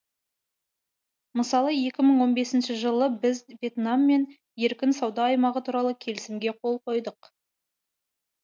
мысалы екі мың он бесінші жылы біз вьетнаммен еркін сауда аймағы туралы келісімге қол қойдық